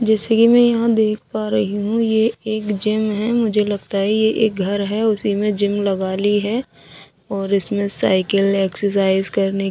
जैसे कि मैं यहां देख पा रही हूं ये एक जिम है मुझे लगता है ये एक घर है उसी में जिम लगा ली है और इसमें साइकिल एक्सरसाइज करने--